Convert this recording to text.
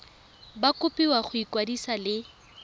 ba kopiwa go ikwadisa le